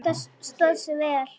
Marta stóð sig vel.